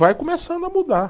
Vai começando a mudar.